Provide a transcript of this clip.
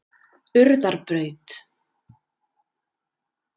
Urðarbraut